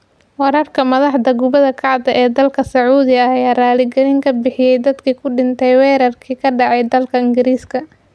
Wararka Madaxda kubada cagta ee dalka Sacuudiga ayaa raali galin ka bixiyay dadkii ku dhintay weerarkii ka dhacay dalka Ingiriiska